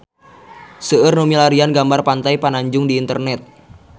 Seueur nu milarian gambar Pantai Pananjung di internet